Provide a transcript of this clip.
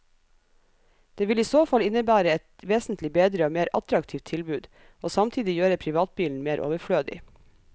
Det vil i så fall innebære et vesentlig bedre og mer attraktivt tilbud, og samtidig gjøre privatbilen mer overflødig.